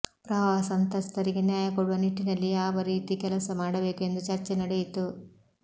ಪ್ರವಾಹ ಸಂತ್ರಸ್ತರಿಗೆ ನ್ಯಾಯ ಕೊಡುವ ನಿಟ್ಟಿನಲ್ಲಿ ಯಾವ ರೀತಿ ಕೆಲಸ ಮಾಡಬೇಕು ಎಂದು ಚರ್ಚೆ ನಡೆಯಿತು